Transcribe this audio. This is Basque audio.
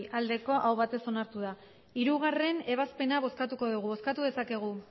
aho batez onartu da hirugarrena ebazpena bozkatuko dugu bozkatu dezakegu